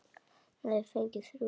Hann hafði fengið þrjú bréf.